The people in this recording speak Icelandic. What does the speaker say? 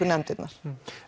nefndirnar